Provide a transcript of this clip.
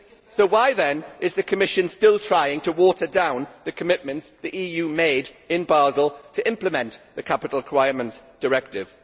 So why, then, is the Commission still trying to water down the commitments the EU made in Basel to implement the Capital Requirements Directive?